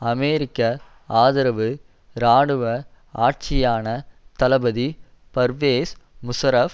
அமெரிக்க ஆதரவு இராணுவ ஆட்சியான தளபதி பர்வேஸ் முஷாரஃப்